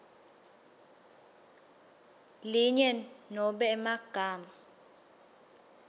linye nobe emagama